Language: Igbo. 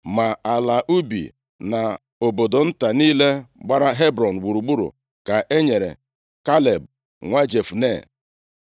Ma ala ubi na obodo nta niile gbara Hebrọn gburugburu ka e nyere Kaleb nwa Jefune.